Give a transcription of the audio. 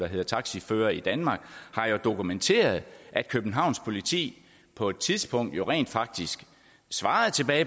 hedder taxiførere i danmark har dokumenteret at københavns politi på et tidspunkt rent faktisk svarede